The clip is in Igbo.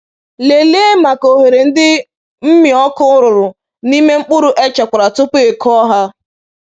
Lelee maka oghere ndị mmịọkụ rụrụ n’ime mkpụrụ e chekwara tupu i kụọ ha.